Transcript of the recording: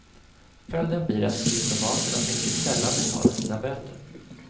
Följden blir att diplomaterna mycket sällan betalar sina böter.